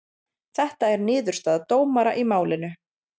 Þetta er niðurstaða dómara í málinu